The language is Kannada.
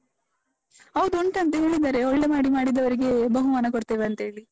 ಹೌದು ಉಂಟಂತ ಹೇಳಿದ್ದಾರೆ, ಒಳ್ಳೇ ಮಾಡಿ ಮಾಡದವರಿಗೆ ಬಹುಮಾನ ಕೊಡ್ತೇವಂತೇಳಿ.